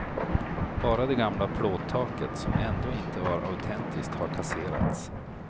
Bara det gamla plåttaket, som ändå inte var autentiskt har kasserats.